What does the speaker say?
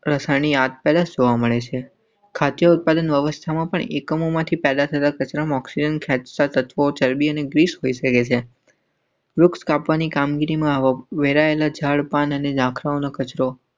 રસાનીયા ત્યાં જોવા મળશે. ખાતે ઉત્પાદન અવસ્થામાં પર એકમોમાંથી પેદા થતા મોક્ષ. લોકસભાની કામગીરીમાં વેરાયેલા ઝાડ પાનને ઝાંખરાનો કચરો.